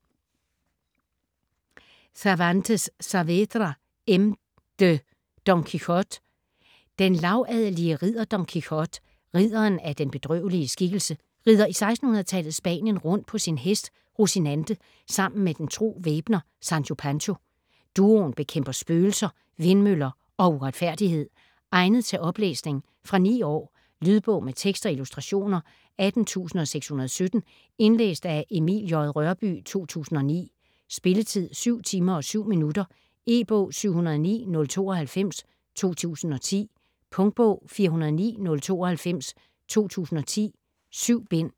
Cervantes Saavedra, M. de: Don Quijote Den lavadelige ridder Don Quijote, Ridderen af den Bedrøvelige Skikkelse, rider i 1600-tallets Spanien rundt på sin hest, Rosinante sammen med den tro væbner, Sancho Pancho. Duoen bekæmper spøgelser, vindmøller og uretfærdighed. Egnet til oplæsning. Fra 9 år. Lydbog med tekst og illustrationer 18617 Indlæst af Emil J. Rørbye, 2009. Spilletid: 7 timer, 7 minutter. E-bog 709092 2010. Punktbog 409092 2010. 7 bind.